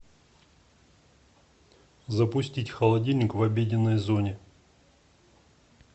запустить холодильник в обеденной зоне